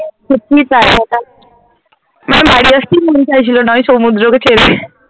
সত্যিই তাই আসতে মন চাইছিলনা ওই সমুদ্রকে ছেড়ে ।